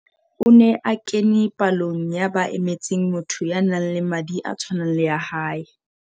O ne a kene palong ya ba emetseng motho ya nang le madi a tshwanang le a hae.